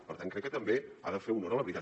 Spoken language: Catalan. per tant crec que també ha de fer honor a la veritat